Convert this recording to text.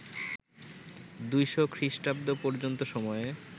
২০০ খ্রিস্টাব্দ পর্যন্ত সময়ে